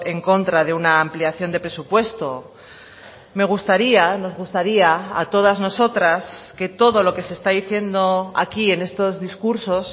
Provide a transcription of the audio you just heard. en contra de una ampliación de presupuesto me gustaría nos gustaría a todas nosotras que todo lo que se está diciendo aquí en estos discursos